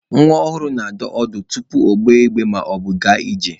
Nwa ọhụrụ na-adọ ọdụ tupu ogbe igbe maọbụ gaa ije.